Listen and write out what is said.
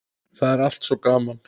Það er allt svo gaman.